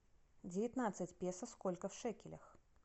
девятнадцать песо сколько в шекелях